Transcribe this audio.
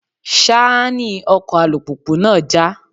Ṣáánì ọkọ̀ alùpùpù náà já.